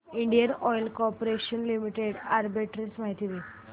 Indian oil corporation limited arbitrage माहिती दे